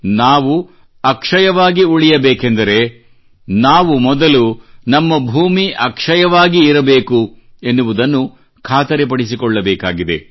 ನಾವು ಅಕ್ಷಯವಾಗಿ ಉಳಿಯಬೇಕೆಂದರೆ ನಾವು ಮೊದಲು ನಮ್ಮ ಭೂಮಿ ಅಕ್ಷಯವಾಗಿ ಇರಬೇಕು ಎನ್ನುವುದನ್ನು ಖಾತರಿಪಡಿಸಿಕೊಳ್ಳಬೇಕಾಗಿದೆ